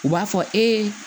U b'a fɔ e